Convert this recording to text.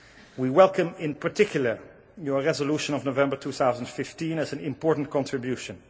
We welcome in particular your Resolution of November 2015 as an important contribution.